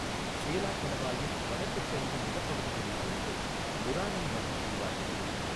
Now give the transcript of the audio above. சேலா கணவாயின் வடக்குச் சரிவு நிலப்பகுதிகளில் இருந்து நுரானங் நதி உருவாகிறது.